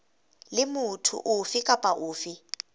le motho ofe kapa ofe